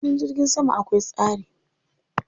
Filin jirgin sama akwai tsari.